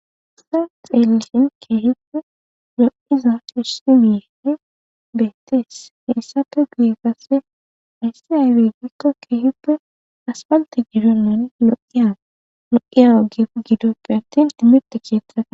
Ta xeelisin keehippe lo'iza kessi miee beetes heessafe guyi gasse ayssi aywe gikko keehippe aspalte gidonnan lo'iya lo'iyaa ge gidoppe attin timirite keethaa.